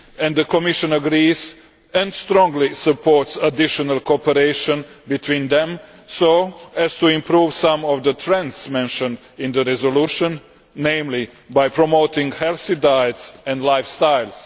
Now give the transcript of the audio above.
The Commission agrees, and strongly supports additional cooperation between them so as to improve some of the trends mentioned in the resolution, particularly by promoting healthy diets and lifestyles.